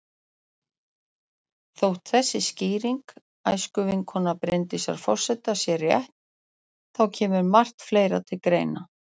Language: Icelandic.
Þótt þessi skýring æskuvinkonu Vigdísar forseta sé rétt, þá kemur margt fleira til.